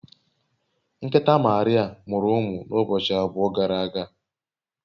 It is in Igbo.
Nkịta Maria mụrụ ụmụ n’ụbọchị abụọ gara aga